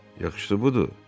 Yaxşısı budur.